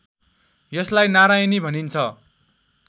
यसलाई नारायणी भनिन्छ